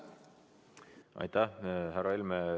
Aitäh, härra Helme!